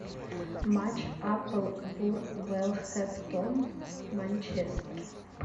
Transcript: матч апл вулверхэмптон манчестер